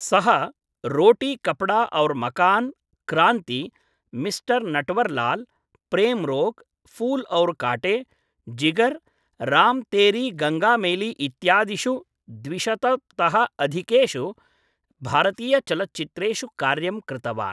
सः, रोटी कपडा और् मकान्, क्रांति, मिस्टर् नटवरलाल्, प्रेम् रोग्, फूल् और् काटे, जिगर्, राम् तेरी गंगा मैली इत्यादिषु द्वि शत तः अधिकेषु भारतीयचलच्चित्रेषु कार्यं कृतवान्।